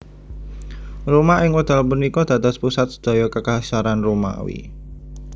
Roma ing wekdal punika dados pusat sedaya Kekaisaran Romawi